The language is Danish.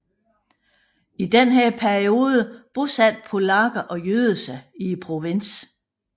I denne periode bosatte polakker og jøder sig i provinsen